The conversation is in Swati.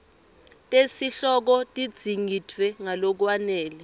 tesihloko tidzingidvwe ngalokwanele